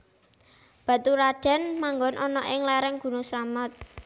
Baturadèn manggon ana ing léréng gunung Slamet